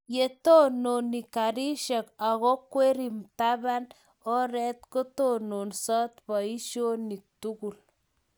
yo tononi karishek ago kwerii mmtaban oret, kotononsot boishonik tugul